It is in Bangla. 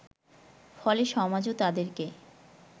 ফলে সমাজও তাদেরকে